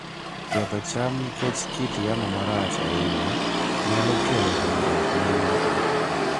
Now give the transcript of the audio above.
Ketho cham nikech kit yamo marach ahinya nyalo kelo hinyruok ne yuto.